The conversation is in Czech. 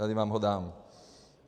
Tady vám ho dám.